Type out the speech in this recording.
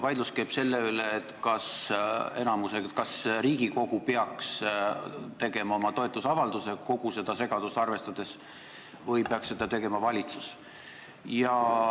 Vaidlus käib selle üle, kas Riigikogu peaks tegema oma toetusavalduse kogu seda segadust arvestades või peaks seda tegema valitsus.